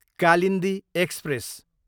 Kalindi express